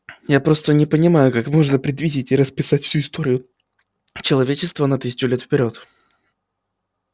я просто не понимаю как можно предвидеть и расписать всю историю человечества на тысячу лет вперёд